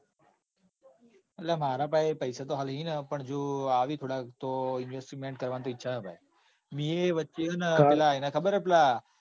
અલ માર પાસે બી પૈસા તો હાલ સીના. પણ જો આવે થોડાક તો રોકાણ કરવાની તો ઈચ્છા હ ભાઈ. મીયે વચ્ચે પેલા એના ખબર હ પેલા.